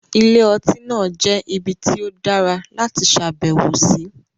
Ilé-ọtí náà jẹ́ ibi tí ó dára láti ṣàbẹ̀wò sí.